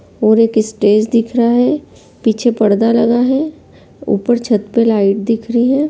और एक स्टेज दिख रहा है | पीछे पर्दा लगा है | ऊपर छत पर लाइट दिख रही है।